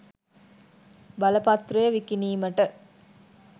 බලපත්‍රය විකිණීමට